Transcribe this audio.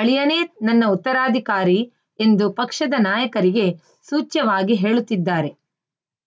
ಅಳಿಯನೇ ನನ್ನ ಉತ್ತರಾಧಿಕಾರಿ ಎಂದು ಪಕ್ಷದ ನಾಯಕರಿಗೆ ಸೂಚ್ಯವಾಗಿ ಹೇಳುತ್ತಿದ್ದಾರೆ